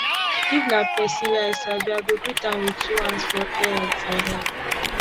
if na pesin wey i sabi i go greet am wit two hands for air for air